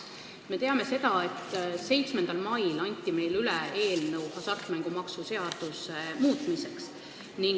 Me teame seda, et 7. mail anti meile üle eelnõu hasartmängumaksu seaduse muutmiseks.